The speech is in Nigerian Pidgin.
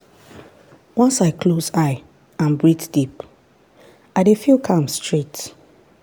once i close eye and breathe deep i dey feel calm straight.